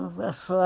Uma pessoa...